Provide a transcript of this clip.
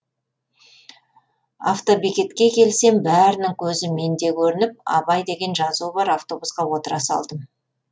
автобекетке келсем бәрінің көзі менде көрініп абай деген жазуы бар автобусқа отыра салдым